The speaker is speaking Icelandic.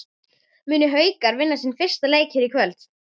Munu Haukar vinna sinn fyrsta leik hér í kvöld?